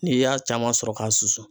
N'i y'a caman sɔrɔ k'a susu